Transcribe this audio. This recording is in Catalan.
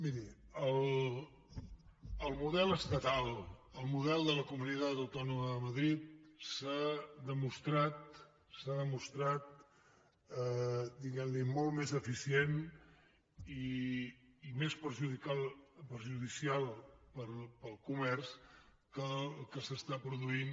miri el model estatal el model de la comunitat autònoma de madrid s’ha demostrat diguem ne molt més deficient i més perjudicial per al comerç que el que es produeix